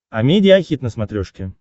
амедиа хит на смотрешке